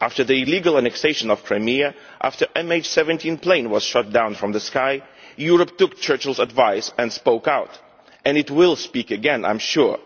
After the illegal annexation of Crimea, after the MH17 plane was shot down from the sky, Europe took Churchill's advice and spoke out, and it will speak again, I am sure.